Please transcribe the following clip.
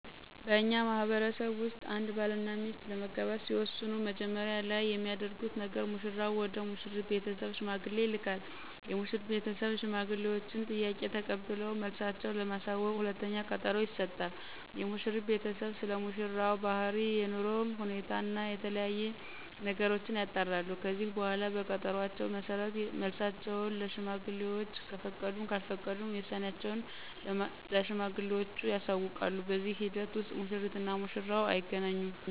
በእኛ ማህበረሰብ ውስጥ አንድ ባል እና ሚስት ለመጋባት ሲወስኑ መጀመሪያ ላይ የሚያደርጉት ነገር ሙሽራው ወደ ሙሽሪት ቤተሰብ ሽማግሌ ይልካል። የሙሽሪት ቤተሰብ የሽማግሌወችን ጥያቄ ተቀብለው መልሳቸው ለማሳወቅ ሁለተኛ ቀጠሮ ይሰጣሉ። የሙሽሪት ቤተሰብም ስለሙሽራው ባህሪ፣ የኑሮ ሁኔታ እና የተለያዬ ነገሮችን ያጣራሉ። ከዚህ በኃላ በቀጠሮአቸው መሠረት መልሳቸውን ለሽማግሌወች ከፈቀዱም ካልፈቀዱም ውሳኔአቸውን ለሽማግሌወቹ ያሳውቃሉ። በዚህ ሂደት ውስጥ ሙሽሪት እና ሙሽራው አይገናኙም።